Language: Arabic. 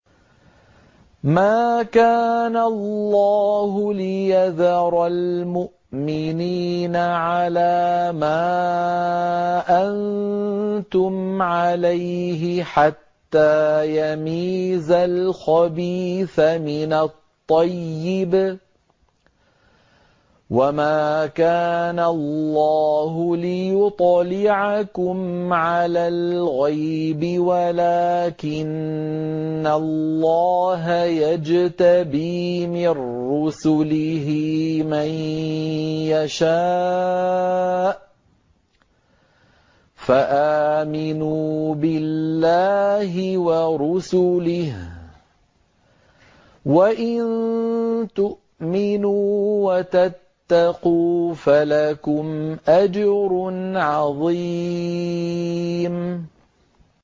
مَّا كَانَ اللَّهُ لِيَذَرَ الْمُؤْمِنِينَ عَلَىٰ مَا أَنتُمْ عَلَيْهِ حَتَّىٰ يَمِيزَ الْخَبِيثَ مِنَ الطَّيِّبِ ۗ وَمَا كَانَ اللَّهُ لِيُطْلِعَكُمْ عَلَى الْغَيْبِ وَلَٰكِنَّ اللَّهَ يَجْتَبِي مِن رُّسُلِهِ مَن يَشَاءُ ۖ فَآمِنُوا بِاللَّهِ وَرُسُلِهِ ۚ وَإِن تُؤْمِنُوا وَتَتَّقُوا فَلَكُمْ أَجْرٌ عَظِيمٌ